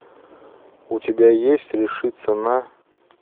у тебя есть решиться на